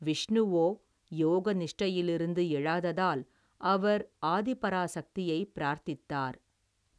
விஷ்ணுவோ யோக நிஷ்டையிலிருந்து எழாததால் அவர் ஆதிபராசக்தியை பிரார்த்தித்தார்.